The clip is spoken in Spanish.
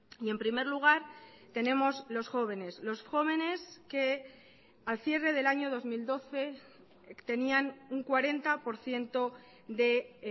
y en primer lugar tenemos los jóvenes los jóvenes que al cierre del año dos mil doce tenían un cuarenta por ciento de